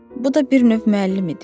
Bu da bir növ müəllim idi.